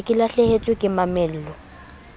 se ke lahlehetswe ke mamello